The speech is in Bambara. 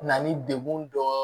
Na ni degun dɔ ye